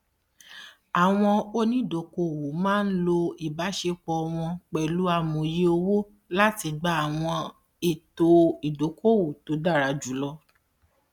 àwọn onídokòòwò máa ń lo ìbáṣepọ wọn pẹlú amòye owó láti gba àwọn ètò ìdókòòwò tó dára jù lọ